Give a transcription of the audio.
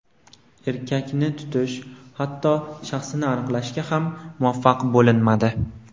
Erkakni tutish, hatto shaxsini aniqlashga ham muvaffaq bo‘linmadi.